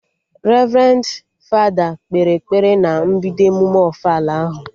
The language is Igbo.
Revrendi fada kpere ekpere na mbido emume ofala ahụ